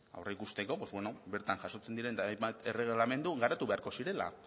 aurreikusteko pues bueno bertan jasotzen diren hainbat erregelamendu garatu beharko zirela